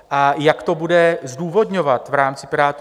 A jak to bude zdůvodňovat v rámci Pirátů?